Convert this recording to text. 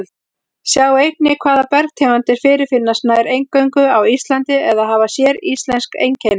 Sjá einnig Hvaða bergtegundir fyrirfinnast nær eingöngu á Íslandi eða hafa séríslensk einkenni?